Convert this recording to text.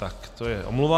Tak, to je omluva.